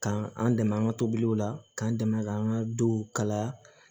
Ka an dɛmɛ an ka tobiliw la k'an dɛmɛ k'an ka duw kala